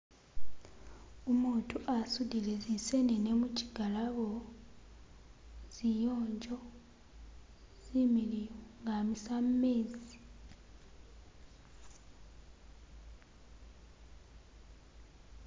Umutu asudile zi senene muchigalabo ziyonjo zimiliyu nga amisa mumezi